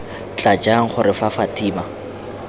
tla jang gore fa fatima